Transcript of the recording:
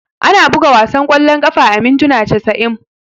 Ana buga wasan kwallon kafa a mintuna casa'in.